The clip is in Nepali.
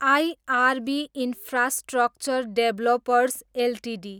IRB infrastructure developers Ltd